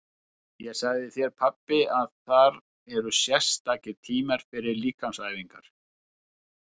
Ég sagði þér pabbi að þar eru sérstakir tímar fyrir líkamsæfingar.